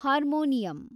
harmonium